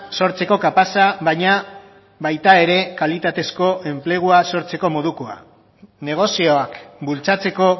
sortzeko kapaza baina baita ere kalitatezko enplegua sortzeko modukoa negozioak bultzatzeko